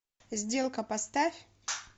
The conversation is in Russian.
сделка поставь